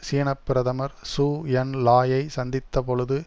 சீன பிரதமர் Zhou En லாயை சந்தித்த பொழுது